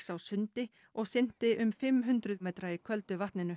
á sundi og synti um fimm hundruð kílómetra í köldu vatninu